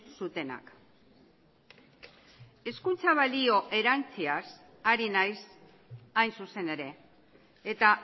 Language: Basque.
zutenak hezkuntza balio erantsiaz ari naiz hain zuzen ere eta